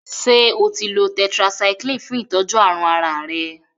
Ṣe otí lọ tetracycline fún itọjú àrùn àrà rẹ.?